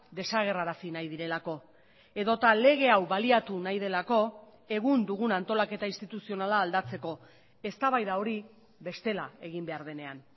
desagerrarazi nahi direlako edota lege hau baliatu nahi delako egun dugun antolaketa instituzionala aldatzeko eztabaida hori bestela egin behar denean